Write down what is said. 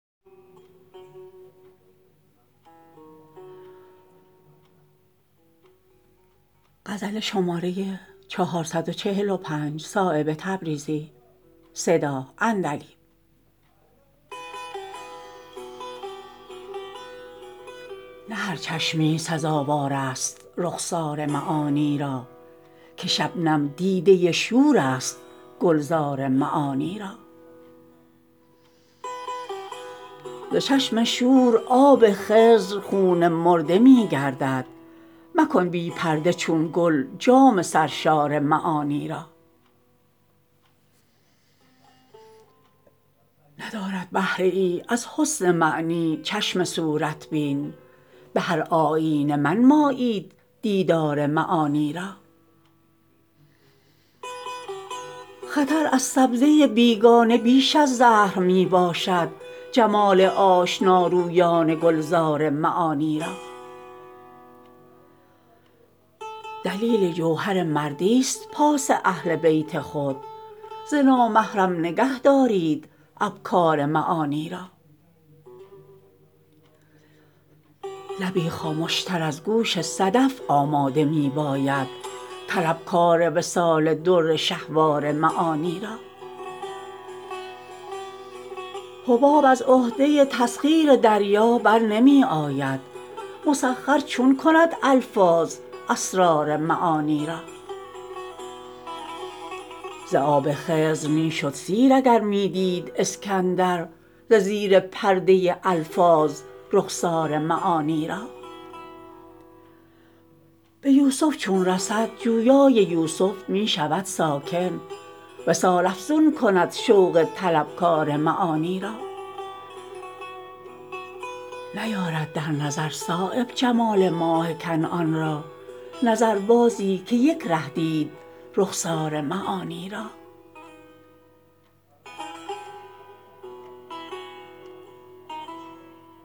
نه هر چشمی سزاوارست رخسار معانی را که شبنم دیده شورست گلزار معانی را ز چشم شور آب خضر خون مرده می گردد مکن بی پرده چون گل جام سرشار معانی را ندارد بهره ای از حسن معنی چشم صورت بین به هر آیینه منمایید دیدار معانی را خطر از سبزه بیگانه بیش از زهر می باشد جمال آشنارویان گلزار معانی را دلیل جوهر مردی است پاس اهل بیت خود ز نامحرم نگه دارید ابکار معانی را لبی خامش تر از گوش صدف آماده می باید طلبکار وصال در شهسوار معانی را حباب از عهده تسخیر دریا برنمی آید مسخر چون کند الفاظ اسرار معانی را ز آب خضر می شد سیر اگر می دید اسکندر ز زیر پرده الفاظ رخسار معانی را به یوسف چون رسد جویای یوسف می شود ساکن وصال افزون کند شوق طلبکار معانی را نیارد در نظر صایب جمال ماه کنعان را نظربازی که یک ره دید رخسار معانی را